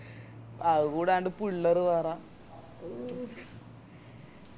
അത് കൂടാണ്ട് പിള്ളര് വേറെ ഒ